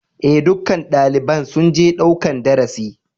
E, dukkan dalibain sun je ɗaukan darasi.